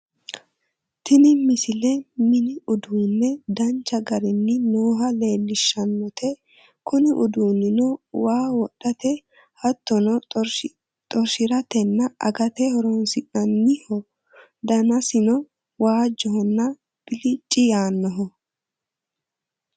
tini misile mini uduunne danchu garinni nooha leellishshannote kuni uduunnino waa wodhate hattono xorshiratenna agate horonsi'nanniho danansano waajjohonna bilicci yaannoho